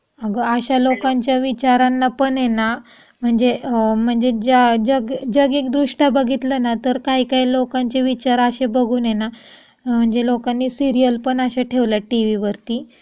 अगं अशा लोकांच्या विचारान पण हे ना म्हणजे म्हणजे जागिकदृष्ट्या बघतील तर काही काही लोकांची विचार अशे बघून आहे ना म्हणजे लोकांनी सिरीयल पण अश्या ठेवल्या टीव्ही वरती की